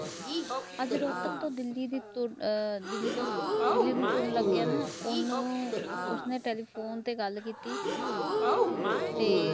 ਅੱਜ ਰੋਤਕ ਤੋ ਦਿੱਲੀ ਦੀ ਆ ਓਹਨੂੰ ਉਸਨੇ ਟੈੱਲੀਫੋਨ ਤੇ ਗੱਲ ਕੀਤੀ ਤੇ